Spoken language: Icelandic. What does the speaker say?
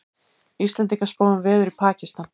Íslendingar spá um veður í Pakistan